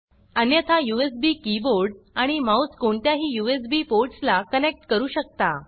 अन्यथा USB keyboard आणि mouse कोणत्याही यूएसबी पोर्टस् ला कनेक्ट करू शकता